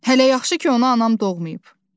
Hələ yaxşı ki, onu anam doğmayıb.